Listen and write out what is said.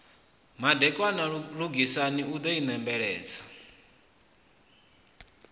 madekwana lugisani u ḓo inembeledza